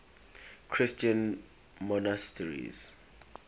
christian monasteries